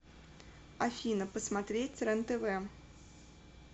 афина посмотреть рен тв